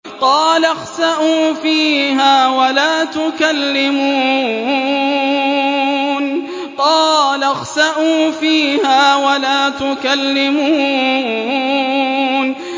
قَالَ اخْسَئُوا فِيهَا وَلَا تُكَلِّمُونِ